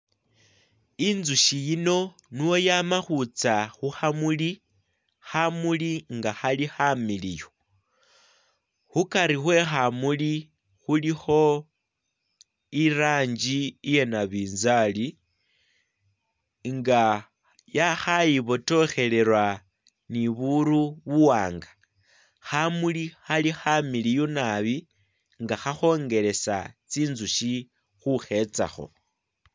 Injushi yino nuwo yamakhutsa hukhamuli khamuli nga hali khamiliyu hukari hwekhamuli khulikho irangi iyanabinzali nga ya khaibotokhelela niburu bu wanga khamuli hali khamiliyu naabi nga khakhongelesa tsinzushi khukhetsaho